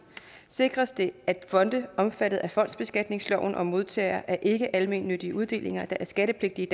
sikres det at fonde omfattet af fondsbeskatningsloven og modtagere af ikkealmennyttige uddelinger der er skattepligtige